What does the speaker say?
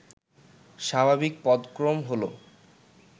স্বাভাবিক পদক্রম হল